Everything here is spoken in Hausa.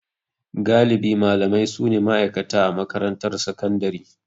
Galibi malamai su ne ma'aikata a makarantar sakandare.